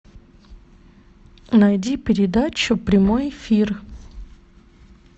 найди передачу прямой эфир